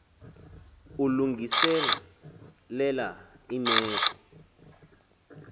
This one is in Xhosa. ullungise lela imeko